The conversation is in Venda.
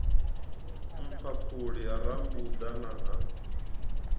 mphaphuli ha rambuḓa na ha